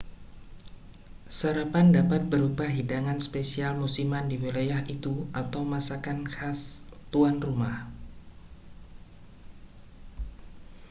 sarapan dapat berupa hidangan spesial musiman di wilayah itu atau masakan khas tuan rumah